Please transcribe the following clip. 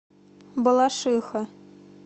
балашиха